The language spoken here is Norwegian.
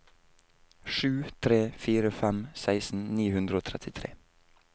sju tre fire fem seksten ni hundre og trettitre